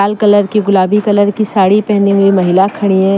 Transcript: Colour की गुलाबी colour की साड़ी पहनी हुई महिला खड़ी है।